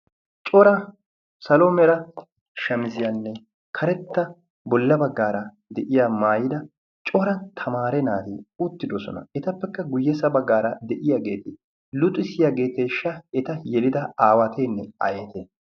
cora salomera shamiziyaanne karetta bolla baggaara de'iya maayida cora tamaare naatee uttidosona etappekka guyyesa baggaara de'iyaageedi luxisiyaageeteeshsha eta yelida aawateenne aayete